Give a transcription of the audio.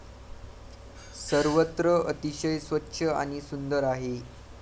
सर्वत्र अतिशय स्वच्छ आणि सुंदर आहे.